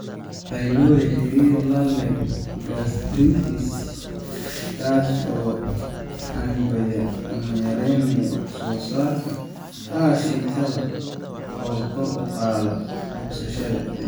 pylori xiriir la leh gastritis) kaas oo xannibaya ama yareynaya wax soo saarka aashitada oo kor u qaada bogsashada.